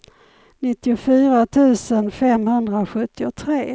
nittiofyra tusen femhundrasjuttiotre